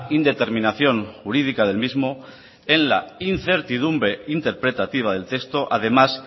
indeterminación jurídica del mismo en la incertidumbre interpretativa del texto además